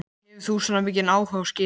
Hefur þú svona mikinn áhuga á skipum?